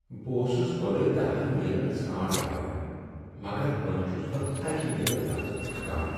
بہٕ اوسس گۄڈٕ دہن میلِن ژھرانٹ وایان مگر وۄنۍ چھس بہٕ اکِہ میل پتہٕ تھکان۔